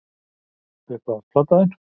Uppáhalds platan þín?